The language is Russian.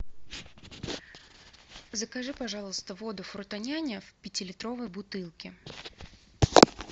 закажи пожалуйста воду фруто няня в пятилитровой бутылке